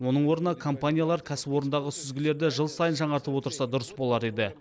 оның орнына компаниялар кәсіпорындағы сүзгілерді жыл сайын жаңартып отырса дұрыс болар еді